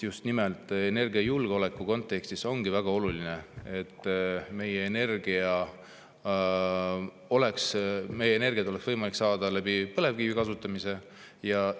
Just nimelt energiajulgeoleku kontekstis on väga oluline, et meil oleks energiat võimalik saada põlevkivi kasutamise abil.